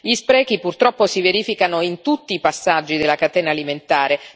Gli sprechi purtroppo si verificano in tutti i passaggi della catena alimentare.